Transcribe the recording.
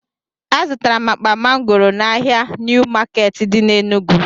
Azụtara m akpa mangoro n'ahịa niw maketi di na Enugu